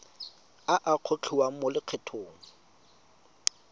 a a gogiwang mo lokgethong